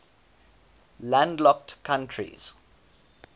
landlocked countries